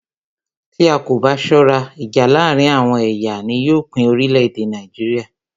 Tí a kò bá ṣọ́rá, ìjà láàárín àwọn ẹ̀yà ni yóò pín orílẹ̀-èdè Nàìjíríà.